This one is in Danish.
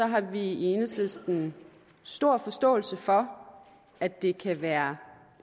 har vi i enhedslisten stor forståelse for at det kan være